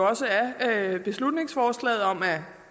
også af beslutningsforslaget om